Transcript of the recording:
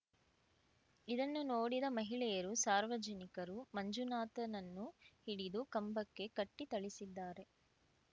ಇದನ್ನು ನೋಡಿದ ಮಹಿಳೆಯರು ಸಾರ್ವಜನಿಕರು ಮಂಜುನಾಥನನ್ನು ಹಿಡಿದು ಕಂಬಕ್ಕೆ ಕಟ್ಟಿಥಳಿಸಿದ್ದಾರೆ